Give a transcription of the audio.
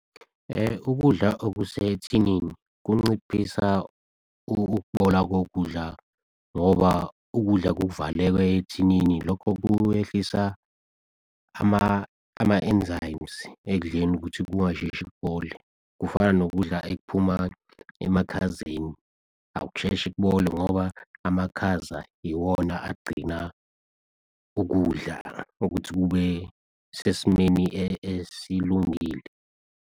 Ukudla okusethinini kunciphisa ukubola kokudla ngoba ukudla kuvaleke ethinini. Lokho kuwehlisa ama enzymes ekudleni ukuthi kungasheshi kubole. Kufana nokudla ekuphuma emakhazeni akusheshe kubole, ngoba amakhaza iwona agcina ukudla ukuthi kube sesimeni esilungile.